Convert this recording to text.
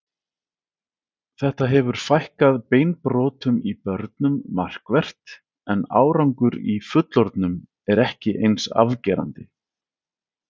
Þetta hefur fækkað beinbrotum í börnum markvert en árangur í fullorðnum er ekki eins afgerandi.